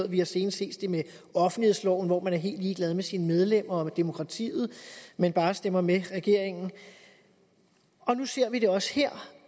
vi har senest set det med offentlighedsloven hvor man er helt ligeglad med sine medlemmer og med demokratiet men bare stemmer sammen med regeringen nu ser vi det også her